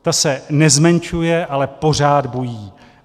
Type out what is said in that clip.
Ta se nezmenšuje, ale pořád bují.